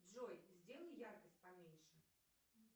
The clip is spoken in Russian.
джой сделай яркость поменьше